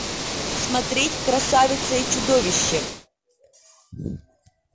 смотреть красавица и чудовище